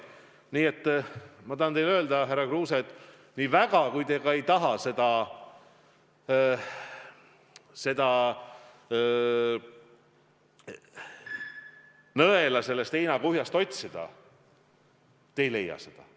Nii et ma tahan teile öelda, härra Kruuse, et nii väga, kui te ka ei taha seda nõela sellest heinakuhjast leida, te ei leia seda.